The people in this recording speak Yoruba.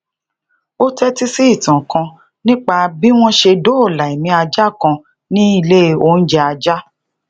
ó teti si ìtàn kan nípa bí wọn ṣe doola emi aja kan ní ilé oúnjẹ ajá